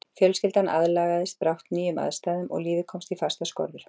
Fjölskyldan aðlagaðist brátt nýjum aðstæðum og lífið komst í fastar skorður.